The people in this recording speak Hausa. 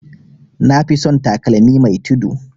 Nafi son takalmi mai tudu